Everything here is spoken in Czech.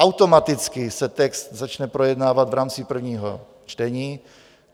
Automaticky se text začne projednávat v rámci prvního čtení.